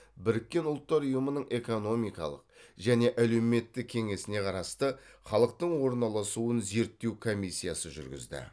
біріккен ұлттар ұйымының экономикалық және әлеуметтік кеңесіне қарасты халықтың орналасуын зерттеу комиссиясы жүргізді